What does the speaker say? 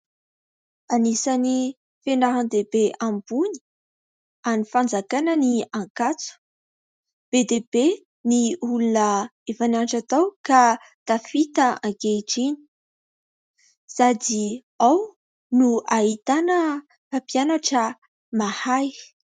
Anisany fianaran-dehibe ambony an'ny fanjakana ny Ankatso, be dia be ny olona efa nianatra tao ka tafita ankehitriny, sady ao no ahitana mpampianatra mahay.